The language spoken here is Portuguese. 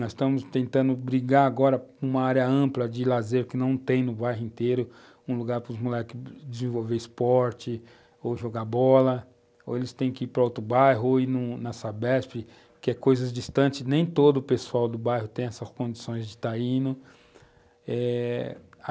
Nós estamos tentando brigar agora com uma área ampla de lazer que não tem no bairro inteiro, um lugar para os moleques desenvolverem esporte ou jogar bola, ou eles têm que ir para outro bairro ou ir na Sabesp que é coisas distantes, nem todo o pessoal do bairro tem essas condições de estar indo, eh